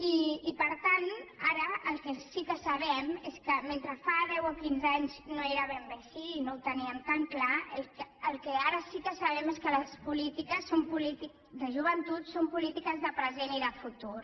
i per tant ara el que sí que sabem és que mentre fa deu o quinze anys no era ben bé així i no ho teníem tan clar el que ara sí que sabem és que les polítiques de joventut són polítiques de present i de futur